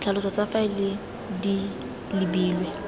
ditlhaloso tsa faele di lebilwe